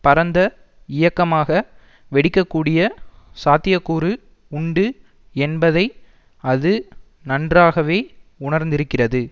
பரந்த இயக்கமாக வெடிக்கக்கூடிய சாத்தியக்கூறு உண்டு என்பதை அது நன்றாகவே உணர்ந்திருக்கிறது